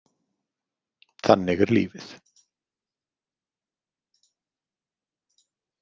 Þannig er lífið.